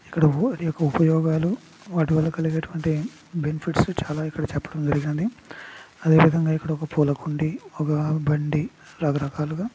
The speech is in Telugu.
ఇక్కడ అనేక ఉపయోగాలు వాటివల్ల కలిగేటువంటి బెనిఫిట్స్ చాలా ఇక్కడ చెప్పడం జరిగింది. అదే విధంగా ఇక్కడ ఒక పూల కుండీ ఒక బండి రకరకాలుగా--